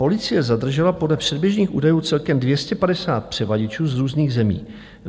Policie zadržela podle předběžných údajů celkem 250 převaděčů z různých zemí.